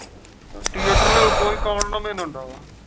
തിയേറ്ററിൽ പോയി കാണണമെന്നുണ്ടോ?